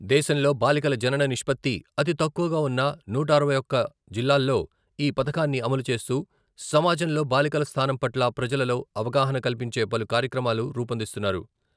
దేశంలో బాలికల జనన నిష్పత్తి అతి తక్కువగా ఉన్న నూట అరవై ఒకటి జిల్లాల్లో ఈ పధకాన్ని అమలు చేస్తూ సమాజంలో బాలికల స్థానం పట్ల ప్రజలలో అవగాహన కల్పించే పలు కార్యక్రమాలు రూపొందిస్తున్నారు.